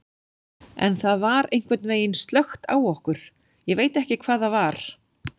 En það var einhvern veginn slökkt á okkur, ég veit ekki hvað það var.